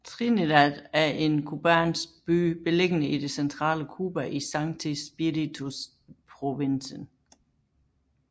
Trinidad er en cubansk by beliggende i det centrale Cuba i Sancti Spíritus Provinsen